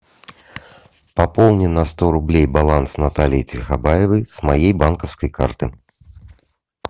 пополни на сто рублей баланс натальи тихобаевой с моей банковской карты